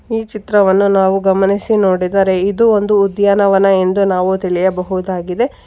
ಈ ಚಿತ್ರವನ್ನು ನಾವು ಗಮನಿಸಿ ನೋಡಿದರೆ ಇದು ಒಂದು ಉದ್ಯಾನವನ ಎಂದು ನಾವು ತಿಳಿಯಬಹುದಾಗಿದೆ.